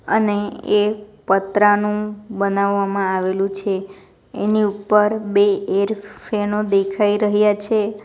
અને એ પતરાનું બનાવવામાં આવેલું છે એની ઉપર બે એર ફેનો દેખાઈ રહ્યા છે.